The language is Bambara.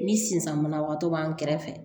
Ni sisan banabagatɔ b'an kɛrɛfɛ